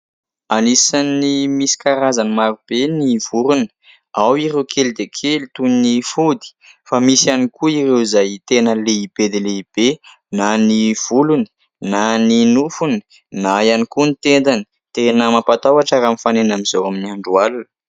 Anisany misy karazany maro be ny vorona. Ao ireo kely dia kely toy ny fody, fa misy ihany koa ireo izay tena lehibe dia lehibe, na ny volony, na ny nofony, na ihany koa ny tendany. Tena mampatahotra raha mifanena amin'izao amin'ny andro alina.